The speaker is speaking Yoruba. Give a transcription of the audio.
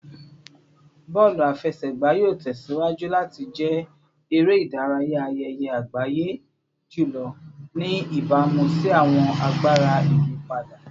Bọọlu afẹsẹgba yoo tẹsiwaju lati jẹ ere-idaraya ayẹyẹ agbaye julọ, ni ibamu si awọn agbara iyipada